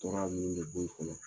tɔɔrɔya minnu bɛ in kɔnɔ